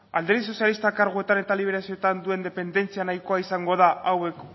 alderdi sozialistak karguetan eta liberazioetan duen dependentzia nahikoa izango da hauek